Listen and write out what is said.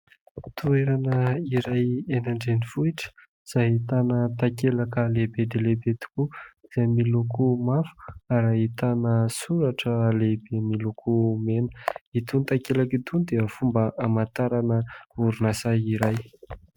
Toerana iray eny an-drenivohitra izay ahitana takelaka lehibe dia lehibe tokoa izay miloko mavo ary ahitana soratra lehibe miloko mena. Itony takelaka itony dia fomba hamantarana orinasa iray.